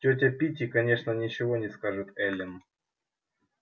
тётя питти конечно ничего не скажет эллин